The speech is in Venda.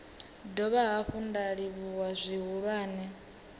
dovha hafhu nda livhuwa zwihulwane